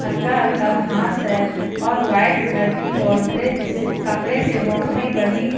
हल्का हल्का घास है और वाइट कलर की बाउंड्री कपड़े से बाउंड्री बनी है।